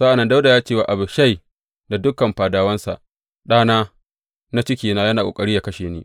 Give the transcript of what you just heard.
Sa’an nan Dawuda ya ce wa Abishai da dukan fadawansa, Ɗana, na cikina, yana ƙoƙari yă kashe ni.